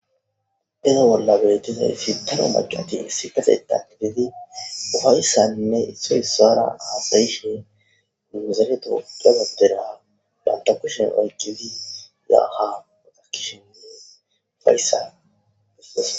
Iza bolla betizays daro mac'ati issipethan gidid issoy isara hasa'ishe nu dere tophiya Bandra banta kushen oykid ya ha woxishenne ufaysa besishe ....